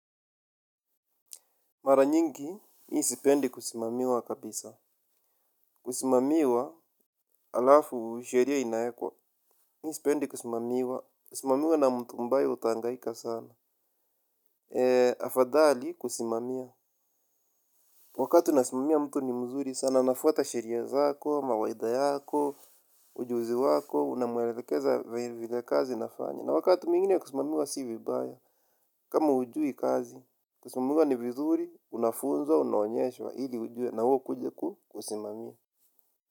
Mara nyingi, mi sipendi kusimamiwa kabisa. Kusimamiwa, alafu sheria inaekwa. Mi sipendi kusimamiwa. Kusimamiwa na mtu mbaya utaangaika sana. Afadhali kusimamiwa. Wakati unasimamia mtu ni mzuri, sana anafuata shiria zako, mawaida yako, ujuzi wako, unamwelekeza vile kazi inafanywa. Na wakati mingine kusimamiwa si vibaya. Kama hujui kazi, kusimamiwa ni vizuri, unafunza, unaonyeshwa ili ujue na wewe ukuje kusimamia.